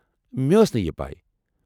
مےٚ ٲس نہٕ یہ پے۔